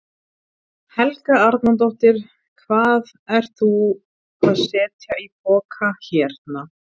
Helga Arnardóttir: Hvað ert þú að setja í poka hérna?